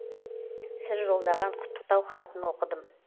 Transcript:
сіз жолдаған құттықтау хатын оқыдым